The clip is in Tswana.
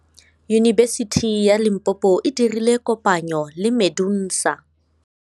Yunibesiti ya Limpopo e dirile kopanyô le MEDUNSA.